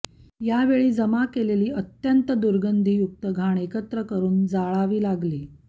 यावेळी जमा केलेली अत्यंत दरुगधीयुक्तघाण एकत्र करून जाळावी लागली